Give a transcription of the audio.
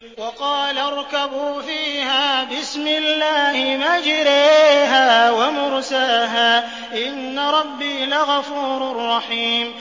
۞ وَقَالَ ارْكَبُوا فِيهَا بِسْمِ اللَّهِ مَجْرَاهَا وَمُرْسَاهَا ۚ إِنَّ رَبِّي لَغَفُورٌ رَّحِيمٌ